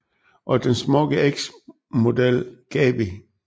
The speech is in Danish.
Og den smukke eks model Gaby